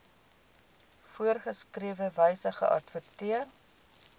voorgeskrewe wyse geadverteer